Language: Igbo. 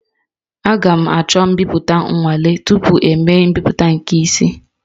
Aga m achọ mbipụta nwale tupu emee mbipụta nke isi